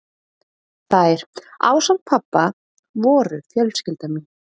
Þær, ásamt pabba, voru fjölskylda mín.